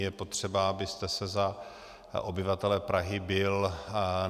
Je potřeba, abyste se za obyvatele Prahy bil.